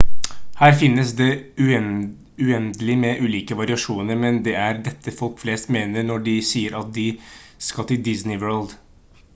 her finnes det uendelig med ulike variasjoner men det er dette folk flest mener når de sier at de skal til disney world